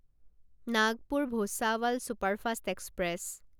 Nagpur Bhusawal superfast express